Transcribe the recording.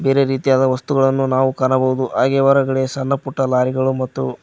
ಇದೇ ರೀತಿಯಾದ ವಸ್ತುಗಳನ್ನು ನಾವು ಕಾಣಬಹುದು ಹಾಗೆ ಹೊರಗಡೆ ಸಣ್ಣಪುಟ್ಟ ಲಾರಿಗಳು ಮತ್ತು--